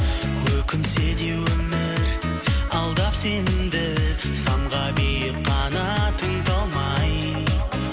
өкінсе де өмір алдап сенімді самға биік қанатың талмай